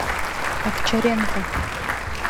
овчаренко